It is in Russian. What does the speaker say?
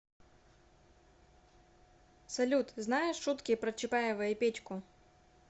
салют знаешь шутки про чапаева и петьку